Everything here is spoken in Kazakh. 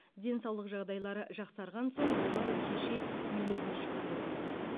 денсаулық жағдайлары жақсарған соң олар кеше үйлеріне шығарылды